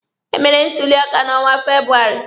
E mere ntuli aka na onwa Febụwarị.